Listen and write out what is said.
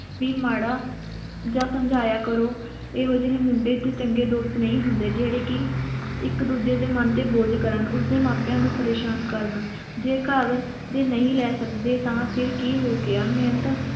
ਵੀ ਮਾੜਾ ਜਾਂ ਸਮਝਾਇਆ ਕਰੋ ਇਹੋ ਜਿਹੇ ਮੁੰਡੇ ਚੰਗੇ ਦੋਸਤ ਨਹੀਂ ਹੁੰਦੇ ਜਿਹੜੇ ਕਿ ਇਕ ਦੂਸਰੇ ਦੇ ਮਨ ਤੇ ਬੋਝ ਕਰਨ ਉਸ ਦੇ ਮਾਪੇਆਂ ਨੂੰ ਪ੍ਰੇਸ਼ਾਨ ਕਰਨ ਜੇਕਰ ਨਹੀਂ ਲੈ ਸਕਦੇ ਤਾਂ ਫਿਰ ਕੀ ਹੋ ਗਿਆ ਮਿਹਨਤ